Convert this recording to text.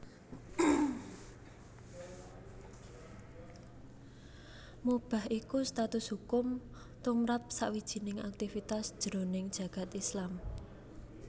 Mubah iku status hukum tumrap sawijining aktivitas jroning jagad Islam